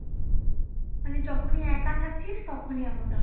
মানে যখনি একা থাকছিস তখনই এমনটা হচ্ছে